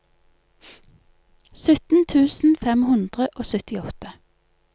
sytten tusen fem hundre og syttiåtte